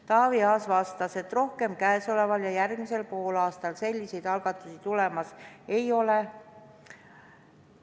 Taavi Aas vastas, et rohkem käesoleval ja järgmisel poolaastal selliseid algatusi tulemas ei ole.